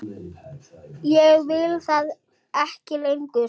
Ég veit það ekki lengur.